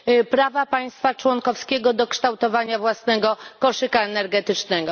prawa państwa członkowskiego do kształtowania własnego koszyka energetycznego?